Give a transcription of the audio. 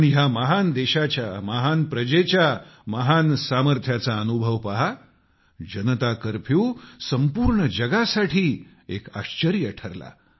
पण ह्या महान देशाच्या महान प्रजेच्या महान सामर्थ्याचा अनुभव पहा जनता कर्फ्यू संपूर्ण जगासाठी एक आश्चर्य बनला